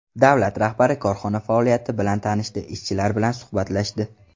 Davlat rahbari korxona faoliyati bilan tanishdi, ishchilar bilan suhbatlashdi.